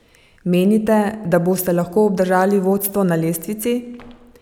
Menite, da boste lahko obdržali vodstvo na lestvici?